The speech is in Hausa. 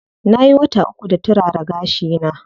Nayi wata uku da turara gashi na.